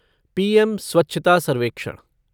PM स्वच्छता सर्वेक्षण